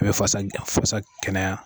An be fasa ja fasa kɛnɛya